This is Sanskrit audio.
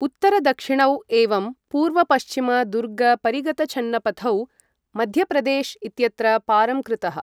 उत्तर दक्षिणौ एवं पूर्व पश्चिम दुर्गपरिगतछन्नपथौ मध्यप्रदेश् इत्यत्र पारं कुरुतः।